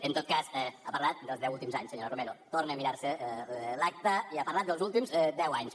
en tot cas ha parlat dels deu últims anys senyora romero torne a mirar se l’acta i ha parlat dels últims deu anys